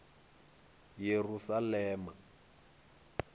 yerusalema